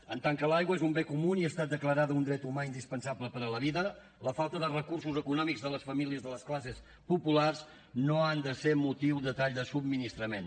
en tant que l’aigua és un bé comú i ha estat declarada un dret humà indispensable per a la vida la falta de recursos econòmics de les famílies de les classes populars no han de ser motiu de tall de subministrament